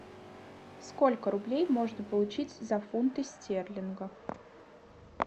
сколько рублей можно получить за фунты стерлингов